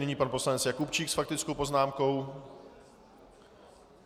Nyní pan poslanec Jakubčík s faktickou poznámkou.